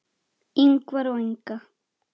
Ingvar og Inga.